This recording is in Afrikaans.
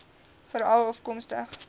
veralafkomstig